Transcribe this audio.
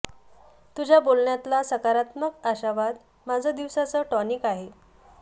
तुझ्या बोलण्यातला सकारात्मक आशावाद माझं दिवसाचं टॉनिक आहे